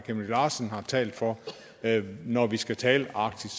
larsen har talt for når vi skal tale arktis